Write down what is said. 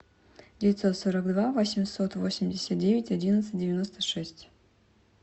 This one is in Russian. девятьсот сорок два восемьсот восемьдесят девять одиннадцать девяносто шесть